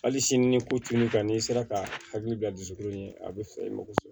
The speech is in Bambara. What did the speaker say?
Hali sini ni ko tunun ka n'i sera ka hakili bila dusukun ye a bɛ fɛ i mako